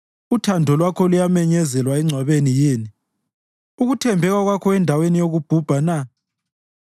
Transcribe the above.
Uthando lwakho luyamenyezelwa engcwabeni yini, ukuthembeka kwakho endaweni yokuBhubha na?